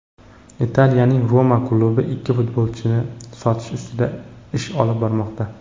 Italiyaning "Roma" klubi ikki futbolchisini sotish ustida ish olib bormoqda.